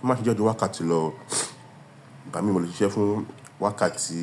Mo máa n ṣise ju wákàtí lọ, ìgbá mi mo le ṣise fún wákàtí